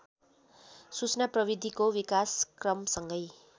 सूचना प्रविधिको विकासक्रमसँगै